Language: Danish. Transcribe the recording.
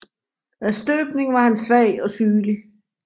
Af støbning var han svag og sygelig